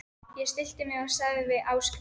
Ég stillti mig og sagði við Ásgrím